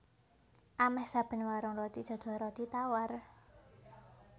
Amèh saben warung roti dodol roti tawar